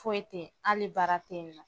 Foyi tɛ ye hali baara tɛ ye nɔ.